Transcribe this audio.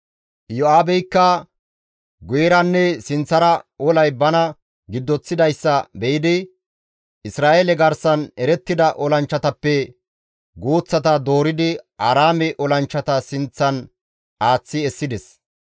Iyo7aabeykka guyeranne sinththara olay bana giddoththidayssa be7idi Isra7eele garsan erettida olanchchatappe guuththata dooridi Aaraame olanchchata sinththan aaththi essides.